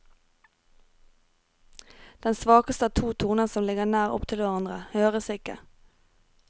Den svakeste av to toner som ligger nær opptil hverandre, høres ikke.